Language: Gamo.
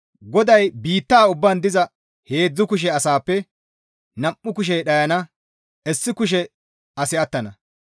GODAY, «Biitta ubbaan diza heedzdzu kushe asaappe nam7u kushey dhayana; issi kushe asi attana.